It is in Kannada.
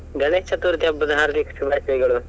ಗಣೇಶ ಚತುರ್ಥಿ ಹಬ್ಬದ ಹಾರ್ದಿಕ ಶುಭಾಶಯಗಳು.